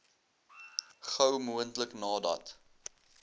gou moontlik nadat